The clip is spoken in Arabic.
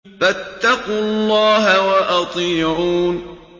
فَاتَّقُوا اللَّهَ وَأَطِيعُونِ